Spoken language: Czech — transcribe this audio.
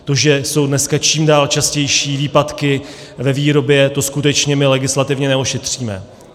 To, že jsou dneska čím dál častější výpadky ve výrobě, to skutečně my legislativně neošetříme.